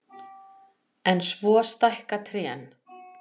En svo stækka trén.